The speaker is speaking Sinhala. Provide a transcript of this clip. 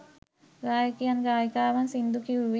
ගායකයන් ගායිකාවන් සිංදු කිව්වේ